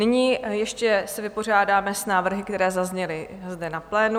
Nyní se ještě vypořádáme s návrhy, které zazněly zde na plénu.